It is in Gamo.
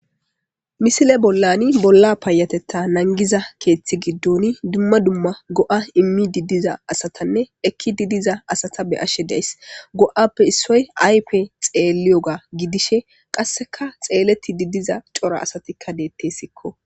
misile bollani bolla paayatetta nangiza keeththi giddon dumma dumma go7a immi diddiza asatanne ekki diddiza asata be ashe deys go7appe issoy aype xeelliyoga gidishe qasseka xeeleti didiza cora asatikka deettessikko